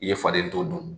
I ye faden to dun